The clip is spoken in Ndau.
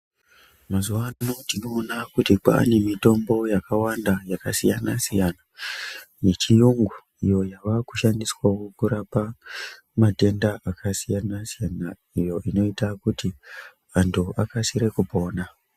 Mazuva ano tinoona kuti kwane mitombo yakawanda yakasiyana-siyana, yechiyungu iyo yavakushandiswavo kurapa matenda akasiyana-siyana, iyo inoita kuti vantu vakasire kupona.